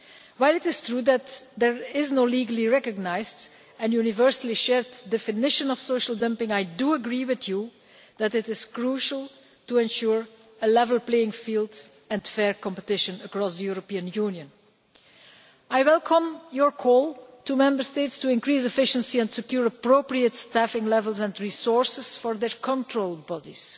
While it is true that there is no legally recognised and universally shared definition of social dumping, I agree with you that it is crucial to ensure a level playing field and fair competition across the European Union. I welcome, Mr Balas, your call to Member States to increase efficiency and secure appropriate staffing levels and resources for their control bodies.